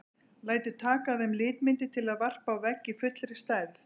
Lætur taka af þeim litmyndir til að varpa á vegg í fullri stærð.